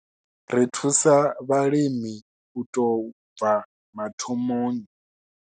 Ri thusa vhalimi u tou bva mathomoni.